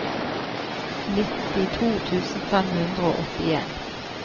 nittito tusen fem hundre og åttien